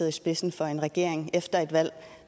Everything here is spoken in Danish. i spidsen for en regering efter et valg